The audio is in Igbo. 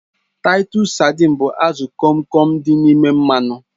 Taitus sadịn bụ azụ Kom Kom dị n'ime mmanụ